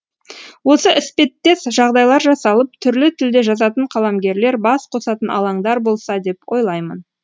осы іспеттес жағдайлар жасалып түрлі тілде жазатын қаламгерлер бас қосатын алаңдар болса деп ойлаймын